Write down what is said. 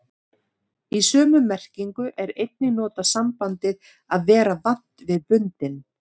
Í sömu merkingu er einnig notað sambandið að vera vant við bundinn.